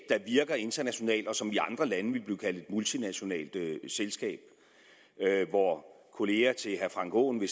der virker internationalt og som i andre lande ville blive kaldt et multinationalt selskab hvor kollegaer til herre frank aaen i